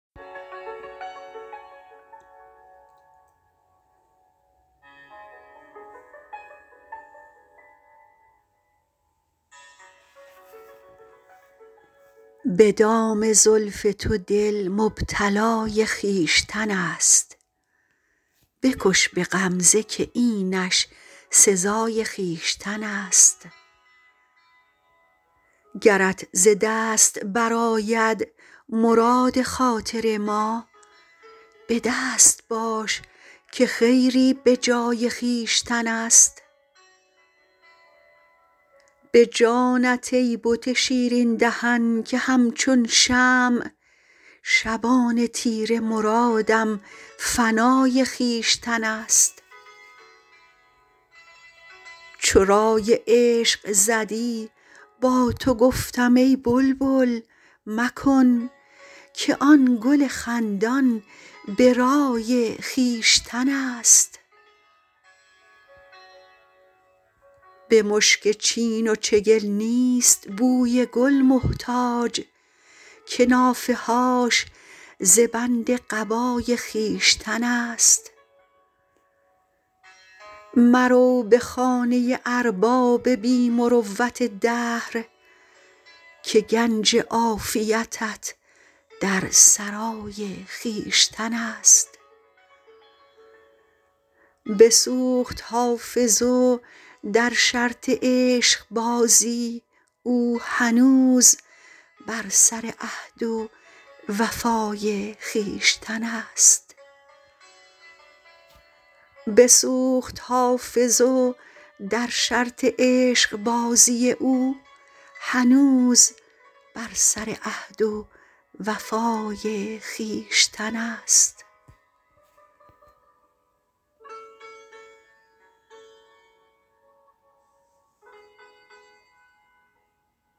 به دام زلف تو دل مبتلای خویشتن است بکش به غمزه که اینش سزای خویشتن است گرت ز دست برآید مراد خاطر ما به دست باش که خیری به جای خویشتن است به جانت ای بت شیرین دهن که همچون شمع شبان تیره مرادم فنای خویشتن است چو رای عشق زدی با تو گفتم ای بلبل مکن که آن گل خندان به رای خویشتن است به مشک چین و چگل نیست بوی گل محتاج که نافه هاش ز بند قبای خویشتن است مرو به خانه ارباب بی مروت دهر که گنج عافیتت در سرای خویشتن است بسوخت حافظ و در شرط عشقبازی او هنوز بر سر عهد و وفای خویشتن است